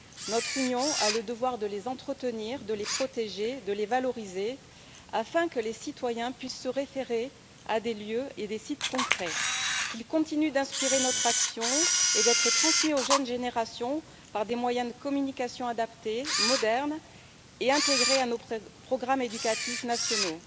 Notre Union a le devoir de les entretenir, de les protéger, de les valoriser, afin que les citoyens puissent se référer à des lieux et des sites concrets, afin aussi que ceux ci continuent d'inspirer notre action et d'être transmis aux jeunes générations, par des moyens de communication adaptés, modernes et intégrés à nos programmes éducatifs nationaux.